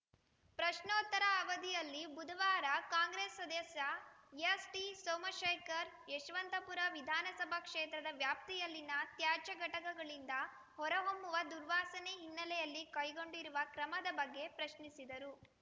ಪ್ರಶ್ನೋತ್ತರ ಅವಧಿಯಲ್ಲಿ ಬುಧವಾರ ಕಾಂಗ್ರೆಸ್‌ ಸದಸ್ಯ ಎಸ್‌ಟಿಸೋಮಶೇಖರ್‌ ಯಶವಂತಪುರ ವಿಧಾನಸಭಾ ಕ್ಷೇತ್ರದ ವ್ಯಾಪ್ತಿಯಲ್ಲಿನ ತ್ಯಾಜ್ಯ ಘಟಕಗಳಿಂದ ಹೊರ ಹೊಮ್ಮುವ ದುರ್ವಾಸನೆ ಹಿನ್ನೆಲೆಯಲ್ಲಿ ಕೈಗೊಂಡಿರುವ ಕ್ರಮದ ಬಗ್ಗೆ ಪ್ರಶ್ನಿಸಿದರು